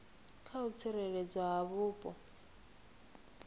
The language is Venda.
kha u tsireledzwa ha vhupo